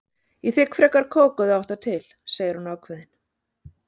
Ég þigg frekar kók ef þú átt það til, segir hún ákveðin.